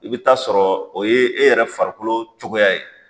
I be t'a sɔrɔ o ye e yɛrɛ farikolo cogoya ye